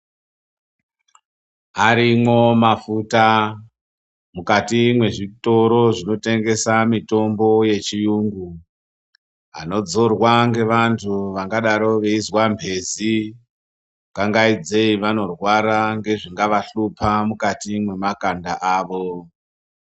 Arimwo mafuta mukati me zvitoro zvino tengesa mitombo ye chiyungu anodzorwa nge vantu vangadaro veizwa mbezi ku kangaidze vanorwara ngezvinga vahlupa mukati mwe makanda avo.